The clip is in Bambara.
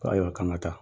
Ko ayiwa k'an ka taa